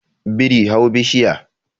biri hau bishiya